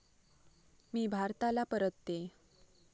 मी भारताला परततेय.